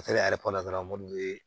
yɛrɛ kɔnɔ dɔrɔn ye